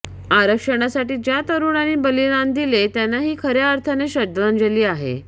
आरक्षणासाठी ज्या तरुणांनी बलिदान दिले त्यांना ही खऱ्या अर्थाने श्रद्धांजली आहे